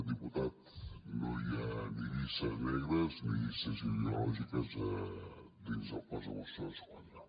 diputat no hi ha ni llistes negres ni llistes ideològiques dins el cos de mossos d’esquadra